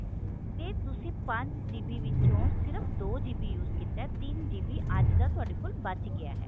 ਤੇ ਤੁਸੀਂ ਪੰਜ GB ਵਿਚੋਂ ਸਿਰਫ ਦੋ GB use ਕੀਤਾ ਤਿੰਨ GB ਅੱਜ ਦਾ ਤੁਹਾਡੇ ਕੋਲ ਬਚ ਗਿਆ ਹੈ